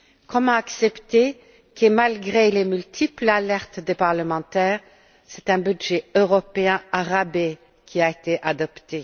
Comment accepter que, malgré les multiples alertes de parlementaires, c'est un budget européen au rabais qui a été adopté?